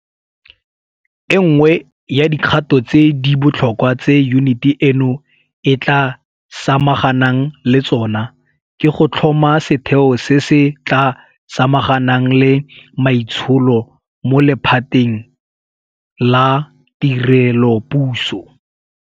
E nngwe ya dikgato tse di botlhokwa tse yuniti eno e tla samaganang le tsona ke go tlhoma setheo se se tla samaganang le maitsholo mo lephateng la tirelopuso.